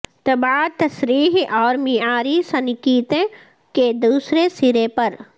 طباعت تصریح اور معیاری سنکیتن کے دوسرے سرے پر